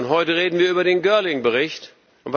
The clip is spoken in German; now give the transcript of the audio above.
Heute reden wir über den Bericht Girling.